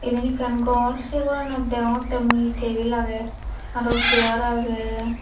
eben ekkan ghor say goranot deyongotte mui he table aage aro chair aage.